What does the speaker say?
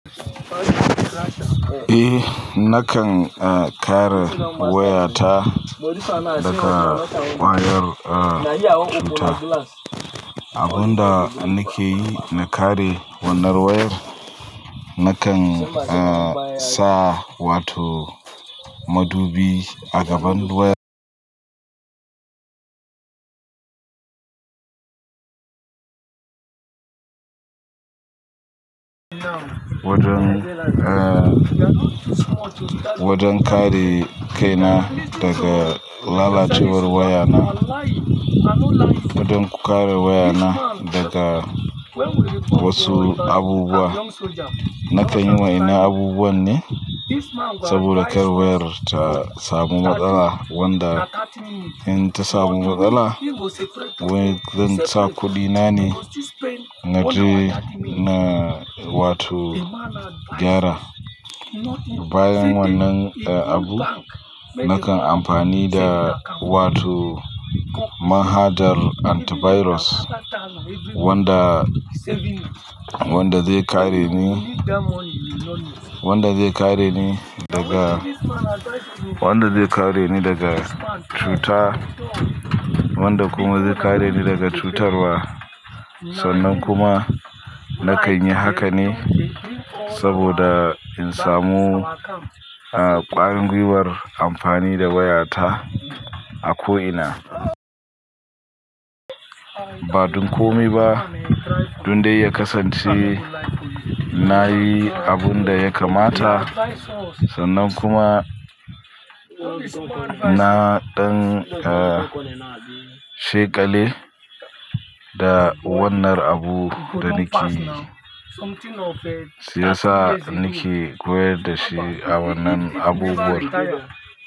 Eh, nakan, eh, kare wayata daga kwayar, eh, cuta. Abun da nake yi na kare wannan wayar, nakan, eh, sa wato madubi a gaban wayar. Wajen, eh, wajen kare kai na daga lalacewar waya na. Wajen ku kare waya na daga wasu abubuwa. Nakan yi wa ina abubuwan ne saboda kar wayar ta samu matsala, wanda in ta samu matsala, wani zai sa kuɗi nane na je na wato gyara. Bayan wannan, eh, abu nakan amfani da wato mahadar antivirus wanda, wanda zai kare ni, wanda zai kare ni daga, wanda zai kare ni daga cuta, wanda kuma zai kare ni daga cutarwa. Sannan kuma nakan yi haka ne saboda in samu, eh, ƙwangwiwar amfani da waya ta a ko ina. Ba don kome ba don dai ya kasance nayi abun da ya kamata. Sannan kuma na ɗan, eh, sheƙale da wannan abu da nake yi, sai sa nake koyar da shi a wannan abubuwan.